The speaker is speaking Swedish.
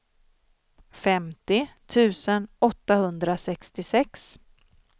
femtio tusen åttahundrasextiosex